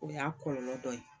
O y'a kɔlɔlɔ dɔ ye